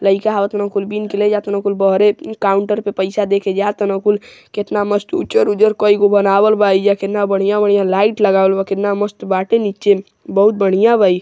लइका आव ताने कुल बिन के ले जा ताने कुल बहरे काउंटर पर पइसा देके जा ताने कुल केतना मस्त उज्जर उज्जर कई गो बनावल बा एइजा केतना बढ़िया बढ़िया लाइट लगावल बा केतना मस्त बाटे नीचे बहुत बढ़िया बा इ |